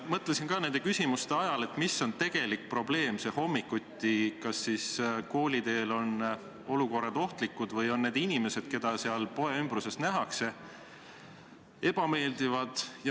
Mõtlesin ka küsimuste ajal, mis on see tegelik probleem hommikuti, kas kooliteel on ohtlikud olukorrad või on need inimesed, keda poe ümbruses nähakse, ebameeldivad.